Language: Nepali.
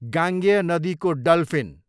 गाङ्गेय नदीको डल्फिन